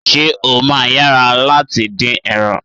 Ṣé ó máa yá wa láti dín ẹran?